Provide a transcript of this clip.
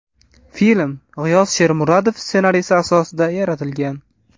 Film G‘iyos Shermuhammedov ssenariysi asosida yaratilgan.